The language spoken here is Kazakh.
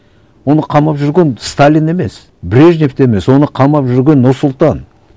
оны қамап жүрген сталин емес брежнев те емес оны қамап жүрген нұрсұлтан